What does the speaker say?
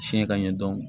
Fiɲɛ ka ɲɛ dɔn